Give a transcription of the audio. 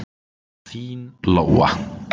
Þín, Lóa.